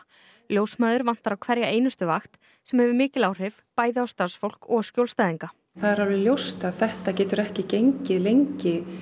ljósmæður vantar á hverja einustu vakt sem hefur mikil áhrif bæði á starfsfólk og skjólstæðinga það er alveg ljóst að þetta getur ekki gengið lengi